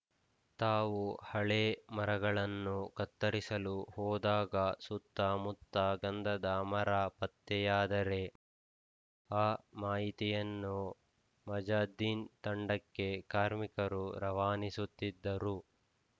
ತಾವು ಹಳೇ ಮರಗಳನ್ನು ಕತ್ತರಿಸಲು ಹೋದಾಗ ಸುತ್ತಮುತ್ತ ಗಂಧದ ಮರ ಪತ್ತೆಯಾದರೆ ಆ ಮಾಹಿತಿಯನ್ನು ಮಜಾದ್ದೀನ್‌ ತಂಡಕ್ಕೆ ಕಾರ್ಮಿಕರು ರವಾನಿಸುತ್ತಿದ್ದರು